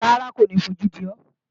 Rárá, kò ní fojú di ọ́